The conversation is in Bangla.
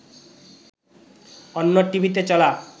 অন্য টিভিতে চলা